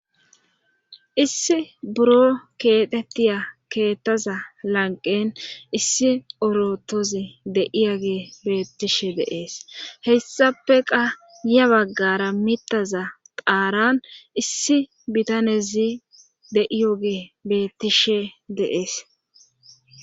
issi buro keexettiya keettaza lanqen issi orotozi deiyo ge beettishe de'es heyssafeqa ya baggara mitaza qaaran issi bitanezi de7iyo gee beettishe de'es